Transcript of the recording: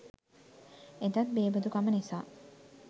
එදත් බේබදුකම නිසා